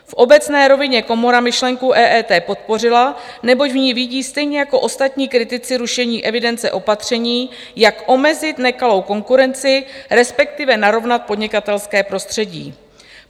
V obecné rovině komora myšlenku EET podpořila, neboť v ní vidí, stejně jako ostatní kritici rušení evidence, opatření, jak omezit nekalou konkurenci, respektive narovnat podnikatelské prostředí.